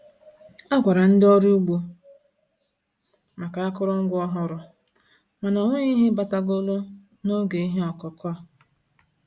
A gwara ndị ọrụ ugbo maka akụrụngwa ọhụrụ, mana ọ nweghị ihe batagolụ n'oge ihe ọkụkụ a.